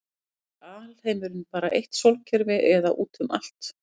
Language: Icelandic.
er alheimurinn bara eitt sólkerfi eða útum allt